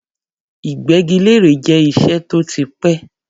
Ìgbẹ́gilére jẹ́ iṣẹ́ tó ti pẹ́.